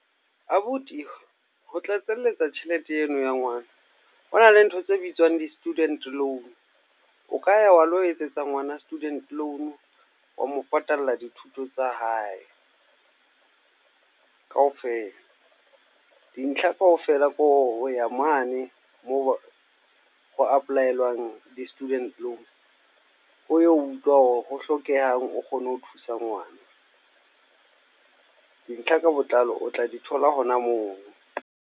Abuti, ho tlatselletsa tjhelete eno ya ngwana. Ho na le ntho tse bitswang di-student loan. O ka ya wa lo etsetsa ngwana student loan, wa mo patalla dithuto tsa hae, ka ofela. Dintlha kaofela ke ho ya mane moo ho apply-elwang di-student loan. O yo utlwa ho hlokehang, o kgone ho thusa ngwana. Dintlha ka botlalo o tla di thola hona moo.